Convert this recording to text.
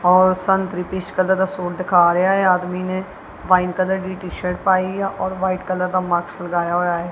ਔਰ ਸੰਤਰੀ peach colour ਦਾ ਸੂਟ ਦਿਖਾ ਰਿਹਾ ਹੈ ਆਦਮੀ ਨੇਂ ਵ੍ਹਾਈਟ ਕਲਰ ਦੀ ਟੀ ਸ਼ਰਟ ਪਾਈਆ ਔਰ ਵ੍ਹਾਈਟ ਕਲਰ ਦਾ ਮਾਸਕ ਲਗਾਇਆ ਹੋਇਆ ਹੈ।